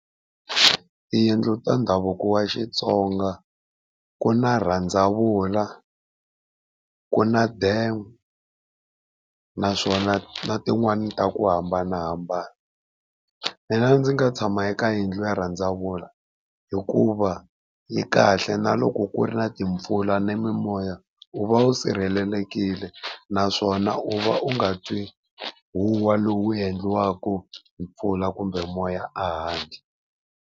Tiyindlu ta ndhavuko wa Xitsonga ku na rhandzavula ku na denga, naswona na tin'wani ta ku hambanahambana. Mina ndzi nga tshama eka yindlu ya rhandzavula hikuva yi kahle na loko ku ri na timpfula ni mimoya u va u sirhelelekile naswona u va u nga twi huhwa lowu endliwaka hi mpfula kumbe moya a handle.